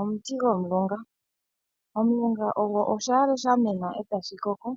Omiti gomulunga, omulungo ogo oshiyale shamena e tashi koko